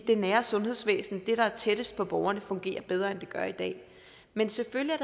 det nære sundhedsvæsen det der er tættest på borgerne fungerer bedre end det gør i dag men selvfølgelig